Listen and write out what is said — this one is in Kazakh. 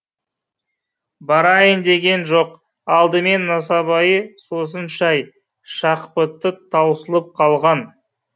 барайын деген жоқ алдымен нысыбайы сосын шай шақпыты таусылып қалған